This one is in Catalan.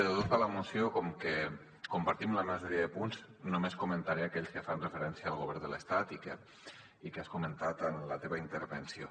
de tota la moció com que en compartim la majoria de punts només comentaré aquells que fan referència al govern de l’estat i que has comentat en la teva intervenció